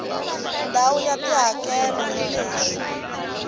ndhawu ya tihakelo hi leswi